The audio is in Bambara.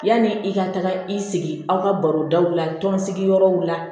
Yanni i ka taga i sigi aw ka baro daw la tɔn sigiyɔrɔw la